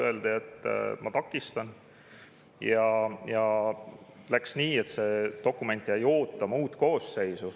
Öeldi, et ma takistan, ja läks nii, et see dokument jäi ootama uut koosseisu.